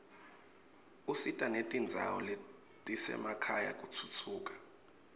usita netindzawo letisemakhaya kutfutfuka